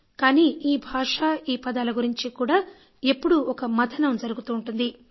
కానీ ఈ భాష ఈ పదాల గురించి కూడా ఎప్పుడూ ఒక మథనం జరుగుతూ ఉంటుంది